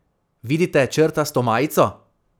Vidite črtasto majico?